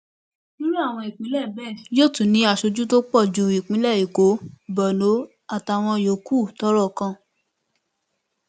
irú àwọn ìpínlẹ bẹẹ yóò tún ní aṣojú tó pọ ju ìpínlẹ èkó borno àtàwọn yòókù tọrọ kàn